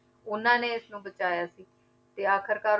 ਉਹਨਾਂ ਨੇ ਇਸਨੂੰ ਬਚਾਇਆ ਸੀ ਤੇ ਆਖ਼ਿਰਕਾਰ